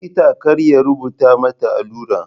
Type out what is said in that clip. Likita kar ya rubuta mata allura.